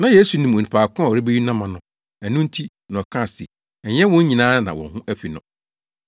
Na Yesu nim onipa ko a ɔrebeyi no ama no, ɛno nti na ɔkae se ɛnyɛ wɔn nyinaa na wɔn ho afi no.